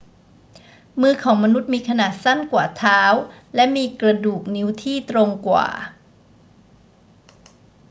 มือของมนุษย์มีขนาดสั้นกว่าเท้าและมีกระดูกนิ้วที่ตรงกว่า